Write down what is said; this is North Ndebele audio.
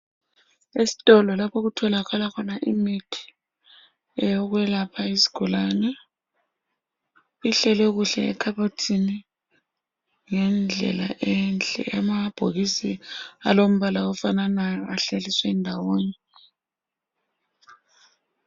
Esitolo lapho okutholakala khona imithi eyokwelapha izigulane . Ihlelwe kuhle ekhabothini ngendlela enhle . Amabhokisi alombala ofananayo ahlaliswe ndawonye .